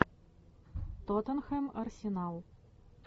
тоттенхэм арсенал